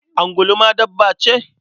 Angulu ma dabba ce?